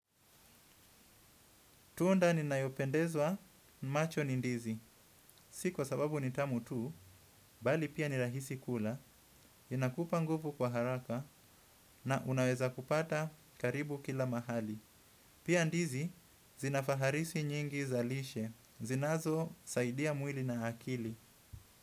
Tunda ni nayopendezwa macho ni ndizi. Si kwa sababu ni tamu tu, bali pia ni rahisi kula, inakupa nguvu kwa haraka na unaweza kupata karibu kila mahali. Pia ndizi, zinafaharisi nyingi zalishe. Zinazo, saidia mwili na akili.